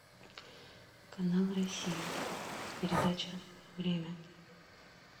канал россия передача время